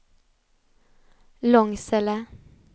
Långsele